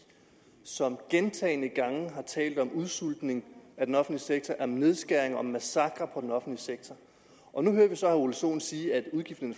som gentagne gange har talt om udsultning af den offentlige sektor om nedskæringer om massakre på den offentlige sektor og nu hører vi så herre ole sohn sige at udgifterne